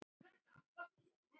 Ekki segi ég það nú.